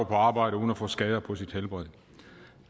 på arbejde uden at få skader på sit helbred